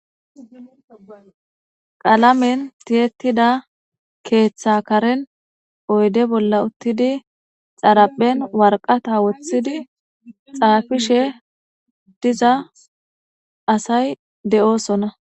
qalamen tiyettida keeththa karen oyde bolla uttidi xaraphen warqata woththidi xaafishe diza asay de7oosonna